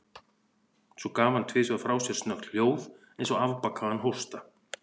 Svo gaf hann tvisvar frá sér snöggt hljóð, eins og afbakaðan hósta.